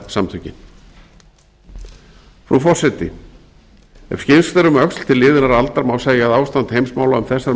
samtökin frú forseti ef skyggnst er um öxl til liðinnar aldar má segja að ástand heimsmála um þessar